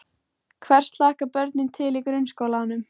Hvers hlakka börnin til í grunnskólanum?